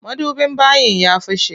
Madubin bayin ya fashe.